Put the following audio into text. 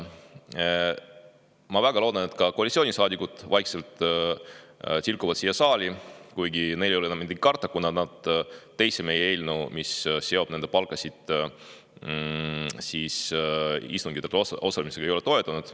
Ma väga loodan, et ka koalitsioonisaadikud tilguvad vaikselt saali, kuigi neil ei ole enam midagi karta, kuna nad teist meie eelnõu, mis oleks sidunud nende palgad istungitel osalemisega, ei toetanud.